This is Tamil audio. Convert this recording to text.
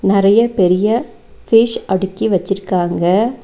நெறைய பெரிய ஃபிஷ் அடுக்கி வச்சிருக்காங்க.